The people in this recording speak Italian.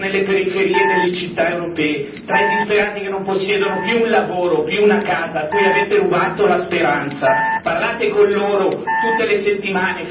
Il prossimo summit dell'eurozona fatelo nelle periferie delle città europee, tra i disperati che non possiedono più un lavoro, più una casa, a cui avete rubato la speranza.